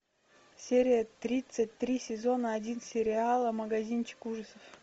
серия тридцать три сезона один сериала магазинчик ужасов